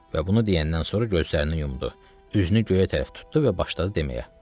Və bunu deyəndən sonra gözlərini yumdu, üzünü göyə tərəf tutdu və başladı deməyə: